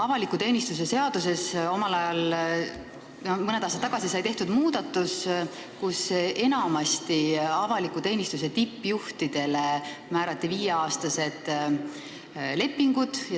Avaliku teenistuse seaduses sai mõni aasta tagasi tehtud muudatus, mille kohaselt enamasti avaliku teenistuse tippjuhtidega sõlmiti viieaastased lepingud.